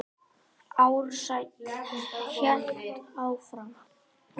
Ársæll hélt áfram.